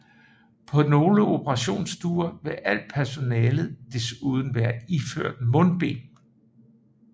På nogle operationsstuer vil alt personalet desuden være iført mundbind